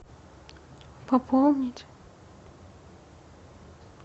пополнить